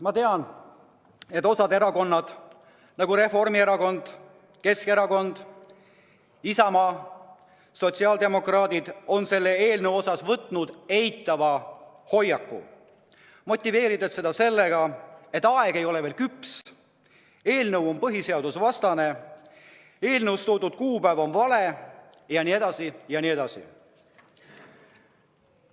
Ma tean, et osa erakondi, nagu Reformierakond, Keskerakond, Isamaa, sotsiaaldemokraadid, on selle eelnõu suhtes võtnud eitava hoiaku, motiveerides seda sellega, et aeg ei ole veel küps, et eelnõu on põhiseadusvastane, et eelnõus toodud kuupäev ei sobi, jne, jne.